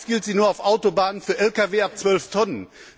Meist gilt sie nur auf Autobahnen für Lkw ab 12 Tonnen.